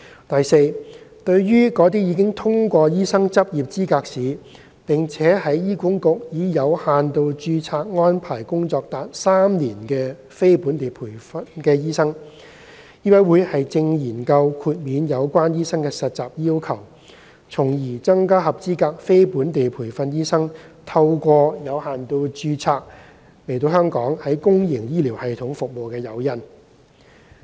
第四，對於那些已通過醫生執業資格試並在醫管局以有限度註冊安排工作達3年的非本地培訓醫生，醫委會正研究豁免有關醫生的實習要求，從而增加合資格非本地培訓醫生透過有限度註冊來港於公營醫療系統服務的誘因。